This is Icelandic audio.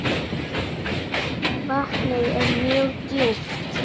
Vatnið er mjög djúpt.